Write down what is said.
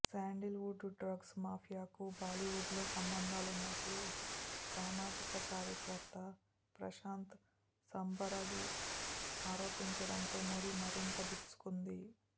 sandalwood drugs మాఫియాకు బాలీవుడ్తో సంబంధాలున్నట్లు సామాజిక కార్యకర్త ప్రశాంత్ సంబరగి ఆరోపించడంతో ముడి మరింత బిగుసుకుంది